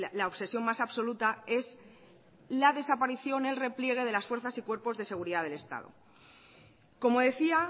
la obsesión más absoluta es la desaparición el repliegue de las fuerzas y cuerpos de seguridad del estado como decía